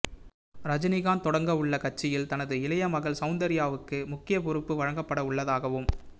ரஜினிகாந்த் தொடங்க உள்ள கட்சியில் தனது இளைய மகள் சௌந்தர்யாவுக்கு முக்கிய பொறுப்பு வழங்கப்பட உள்ளதாகவும்